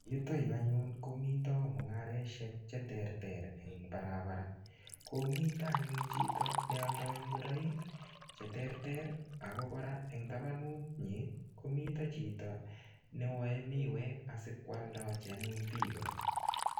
Yutoyu anyun, komite mung'areshek che terter eng barabara. Komite anyun chito nealdoi ngoroik che terter. Ako kora eng tabanut nyi, komite chito newae miwek asikwaldochi anyun biiko.